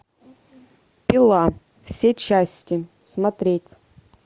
пила все части смотреть